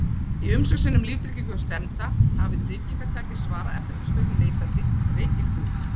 Í umsókn sinni um líftryggingu hjá stefnda, hafi tryggingartaki svarað eftirfarandi spurningum neitandi: Reykir þú?